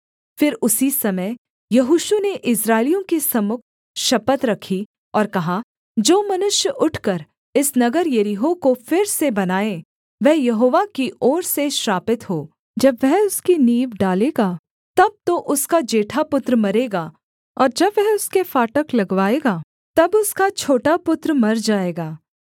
फिर उसी समय यहोशू ने इस्राएलियों के सम्मुख शपथ रखी और कहा जो मनुष्य उठकर इस नगर यरीहो को फिर से बनाए वह यहोवा की ओर से श्रापित हो जब वह उसकी नींव डालेगा तब तो उसका जेठा पुत्र मरेगा और जब वह उसके फाटक लगवाएगा तब उसका छोटा पुत्र मर जाएगा